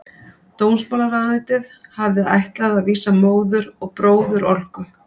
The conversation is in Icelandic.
Dómsmálaráðuneytið hafði ætlað að vísa móður og bróður Olgu